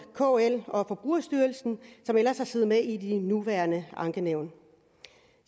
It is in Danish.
kl og forbrugerstyrelsen som ellers har siddet med i det nuværende ankenævn